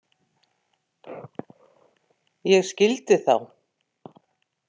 Ég skildi þá.